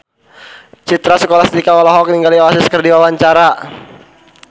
Citra Scholastika olohok ningali Oasis keur diwawancara